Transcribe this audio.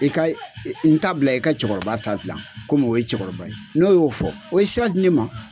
I ka n ta bila i ka cɛkɔrɔba ta dilan kɔmi o ye cɛkɔrɔba ye n'o y'o fɔ o ye sira di ne ma.